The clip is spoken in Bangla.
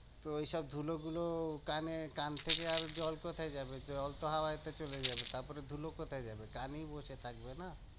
তো ওইসব ধুলোগুলো কানে কান থেকে আর জল কোথায় যাবে? জল তো হাওয়াতে চলে যাবে, তারপরে ধুলো কোথায় যাবে? কানেই বসে থাকবে না?